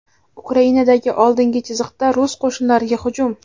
Ukrainadagi oldingi chiziqda rus qo‘shinlariga hujum.